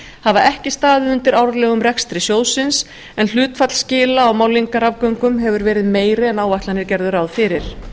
hafa ekki staðið undir árlegum rekstri sjóðsins en hlutfall skila á málningarafgöngum hefur verið meira en áætlanir gerðu ráð fyrir